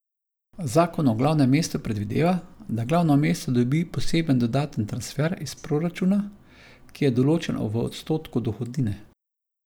Zakon o glavnem mestu predvideva, da glavno mesto dobi poseben dodaten transfer iz proračuna, ki je določen v odstotku dohodnine.